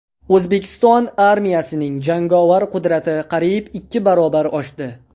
O‘zbekiston armiyasining jangovar qudrati qariyb ikki barobar oshdi.